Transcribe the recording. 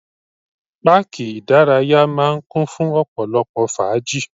Páàkì ìdárayá máà ń kún fún ọ̀pọ̀lọpọ̀ fàájì.